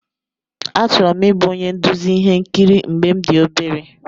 Achọrọ m ịbụ onye nduzi ihe nkiri mgbe m dị obere.